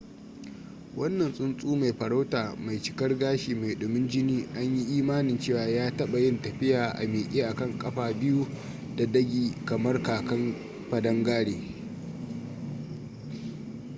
wannan tsuntsu mai farauta mai cikar gashi mai dumin jini an yi imanin cewa ya taɓa yin tafiya a miƙe akan kafa biyu da dagi kamar kakan padangare